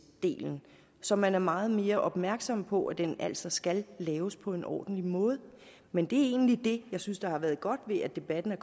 delen så man er meget mere opmærksom på at den altså skal laves på en ordentlig måde men det er egentlig det jeg synes har været godt ved at debatten er